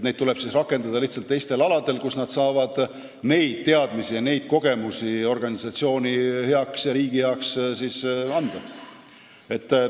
Neid tuleb rakendada teistel aladel, kus nad saavad oma teadmisi ja kogemusi organisatsiooni ja riigi heaks kasutada.